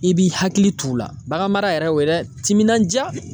I b'i hakili t'u la baganmara yɛrɛ y'o ye dɛ timinaja